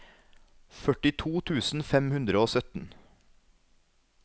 førtito tusen fem hundre og sytten